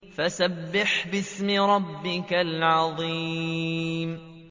فَسَبِّحْ بِاسْمِ رَبِّكَ الْعَظِيمِ